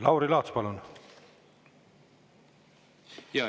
Lauri Laats, palun!